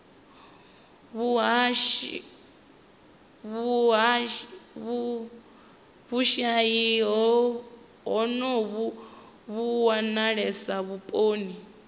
vhushayi honovhu vhu wanalesa vhuponi